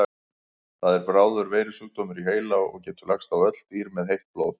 Það er bráður veirusjúkdómur í heila og getur lagst á öll dýr með heitt blóð.